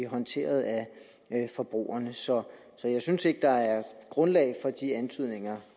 håndteret af forbrugerne så så jeg synes ikke der er grundlag for de antydninger